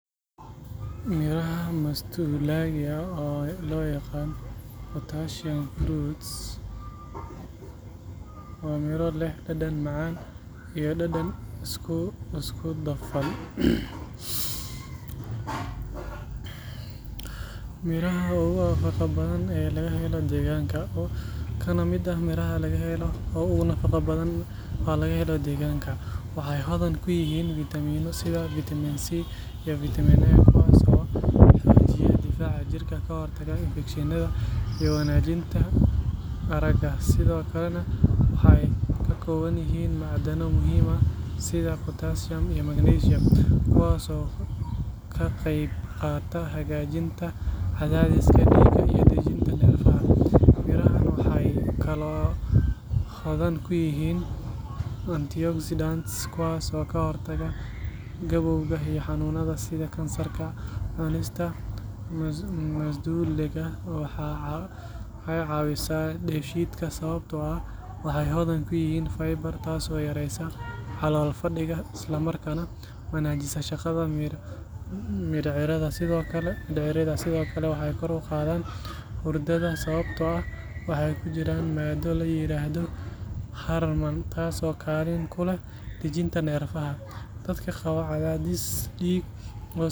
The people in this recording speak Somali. Midhaha masduulaagii, oo loo yaqaan passion fruit, waa miro leh dhadhan macaan iyo dhanaan isku dhafan, kana mid ah miraha ugu nafaqo badan ee laga helo deegaanka. Waxay hodan ku yihiin fitamiinno sida vitamin C iyo vitamin A, kuwaas oo xoojiya difaaca jirka, ka hortaga infekshanka, iyo wanaajinta aragga. Sidoo kale, waxay ka kooban yihiin macdano muhiim ah sida potassium iyo magnesium, kuwaas oo ka qayb qaata hagaajinta cadaadiska dhiigga iyo dejinta neerfaha. Midhahan waxay kaloo hodan ku yihiin antioxidants, kuwaas oo ka hortaga gabowga iyo xanuunnada sida kansarka. Cunista masduulaagii waxay caawisaa dheefshiidka sababtoo ah waxay hodan ku yihiin fiber, taasoo yareyneysa calool-fadhiga isla markaana wanaajisa shaqada mindhicirrada. Sidoo kale, waxay kor u qaadaan hurdada sababtoo ah waxaa ku jira maaddo la yiraahdo harman taas oo kaalin ku leh dejinta neerfaha. Dadka qaba cadaadis dhiig oo sareeya ayaa ka faa’iideysan kara cunista midhahan, sababtoo ah waxay hoos u dhigaan cadaadiska dhiigga iyagoo ay ugu wacan tahay macdanta potassium. Intaa waxaa dheer, midhahan si fudud ayaa looga heli karaa suuqyada deegaanka, gaar ahaan xilliga ay miro dhalaan, waxaana laga heli karaa qaab dabiici ah iyo sidoo kale juice ahaan.